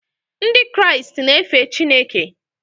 Ndị Kraịst na-efe Chineke.